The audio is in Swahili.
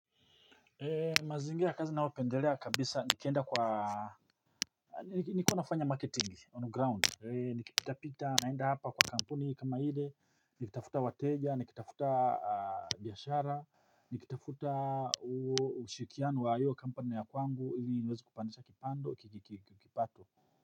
Mazingira ya kazi ninaopendelea kabisa nikienda kwa nikiwa nafanya marketing on ground nikipitapita naenda hapa kwa kampuni kama ile nikitafuta wateja nikitafuta biashara nikitafuta ushirikiano wa iyo kampanu ya kwangu ili niwezi kupandisha kipato.